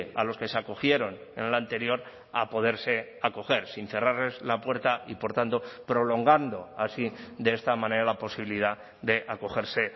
a los que se acogieron en el anterior a poderse acoger sin cerrarles la puerta y por tanto prolongando así de esta manera la posibilidad de acogerse